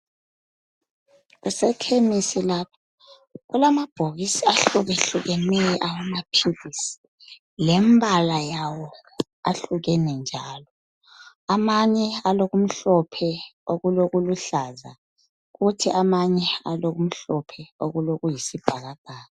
Kusekhemisi lapha. Kulamabhokisi ahlukehlukeneyo alamaphilisi, lembala yawo ahlukene njalo, amanye alokumhlophe okulokuluhlaza kuthi amanye alokumhlophe okulokuyisibhalabhaka.